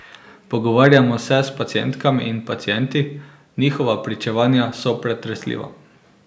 Pogovarjamo se s pacientkami in pacienti, njihova pričevanja so pretresljiva.